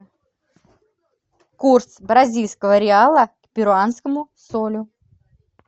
курс бразильского реала к перуанскому солю